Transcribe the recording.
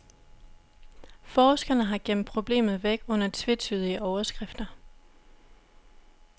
Forskerne har gemt problemet væk under tvetydige overskrifter.